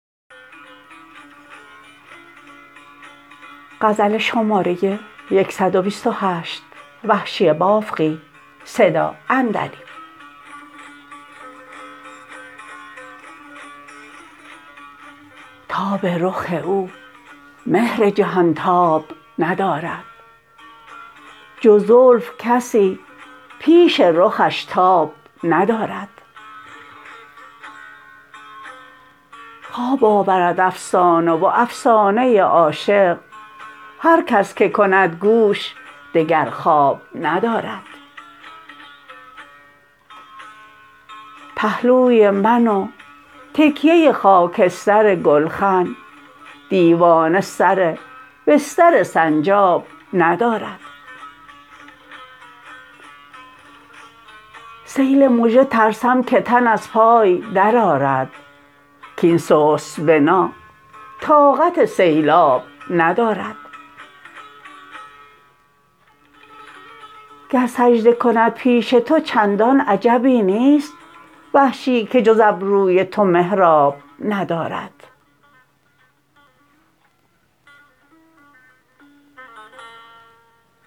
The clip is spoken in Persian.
تاب رخ او مهر جهانتاب ندارد جز زلف کسی پیش رخش تاب ندارد خواب آورد افسانه و افسانه عاشق هر کس که کند گوش دگر خواب ندارد پهلوی من و تکیه خاکستر گلخن دیوانه سر بستر سنجاب ندارد سیل مژه ترسم که تن از پای در آرد کاین سست بنا طاقت سیلاب ندارد گر سجده کند پیش تو چندان عجبی نیست وحشی که جز ابروی تو محراب ندارد